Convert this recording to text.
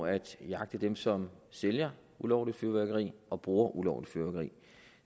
at jagte dem som sælger ulovligt fyrværkeri og bruger ulovligt fyrværkeri